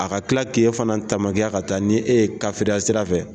A ka tila k'e fana tamakiya ka taa ni e ye sira fɛ